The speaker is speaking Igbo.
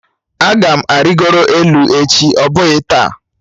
Aga m arịgoro elu echi ọ bụghị taa